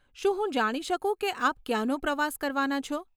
શું હું જાણી શકું કે આપ ક્યાંનો પ્રવાસ કરવાના છો?